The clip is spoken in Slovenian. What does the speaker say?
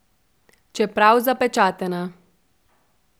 Čeprav zapečatena!